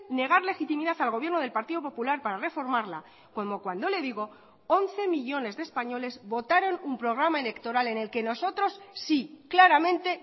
negar legitimidad al gobierno del partido popular para reformarla como cuando le digo once millónes de españoles votaron un programa electoral en el que nosotros sí claramente